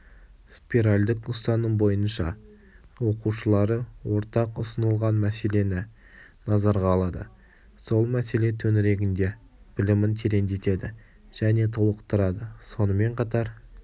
спиральдік ұстаным бойынша оқушылары ортақ ұсынылған мәселені назарға алады сол мәселе төңірегінде білімін тереңдетеді және толықтырады сонымен қатар